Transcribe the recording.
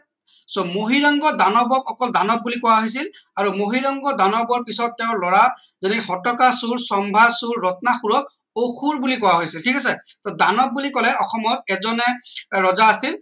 so Mahiranga দানৱ দানৱক অকল দানৱ বুলি কোৱা হৈছিল আৰু মহীৰংগ দানৱৰ পিছত তেওঁৰ লৰা ঘটকাসুৰ শম্ভাসুৰ ৰত্নাসুৰক অসুৰ বুলি কোৱা হৈছিল ঠিক আছে টো দানৱ বুলি কলে অসমত এজন হে ৰজা আছিল